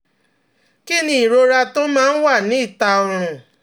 Kí ni ìrora tó máa ń wà ní ìta ọrùn?